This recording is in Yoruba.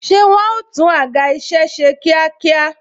Ṣé wọn ó tún àga isẹ ṣe kíákíá?